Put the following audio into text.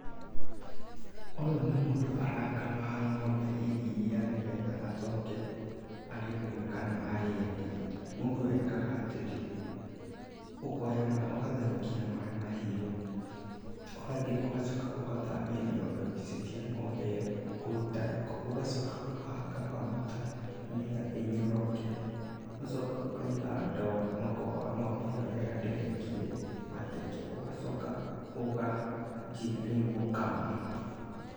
Ũyũ nĩ mũndũ arakama ng'ombe iria nĩgetha acoke arĩnyue kana arĩendie, mũndũ ekaga atĩrĩ, ũkoya ma ũgatherũkia maaĩ mahiũ, ũgathiĩ ũgacoka ũgathabia nyondo icio cia ng'ombe ĩyo kũruta gĩko, ũgacoka ũkahaka maguta nĩgetha ĩnyoroke, ũgacoka ũkaiga ndoo na ũkoha ng'ombe ĩyo wega ndĩgaikie mateke, ũgacoka ũkanjia rĩu gũkama.